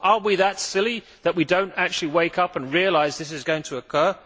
Are we that silly that we do not actually wake up and realise this is going to occur?